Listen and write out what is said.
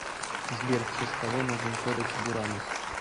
сбер в честь кого назван кодекс буранус